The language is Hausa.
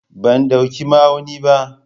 Ban dauki ma'auni ba.